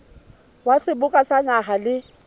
wa seboka sa naha le